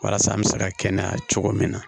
Walasa an bɛ se ka kɛnɛya cogo min na